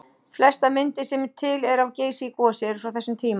Flestar myndir sem til eru af Geysi í gosi eru frá þessum tíma.